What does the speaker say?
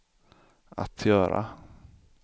att göra